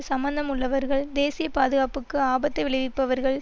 சம்மந்தம் உள்ளவர்கள் தேசிய பாதுகாப்புக்கு ஆபத்தை விளைவிப்பவர்கள்